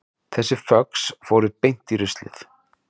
Þessi föx fóru beint í ruslið